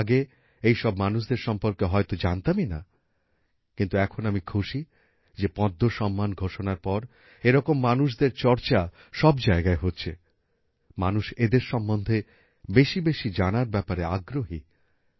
আমরা আগে এইসব মানুষদের সম্পর্কে হয়তো জানতামই না কিন্তু এখন আমি খুশি যে পদ্ম সম্মান ঘোষণার পর এরকম মানুষদের চর্চা সব জায়গায় হচ্ছে মানুষ এদের সম্বন্ধে বেশি বেশি জানার ব্যাপারে আগ্রহী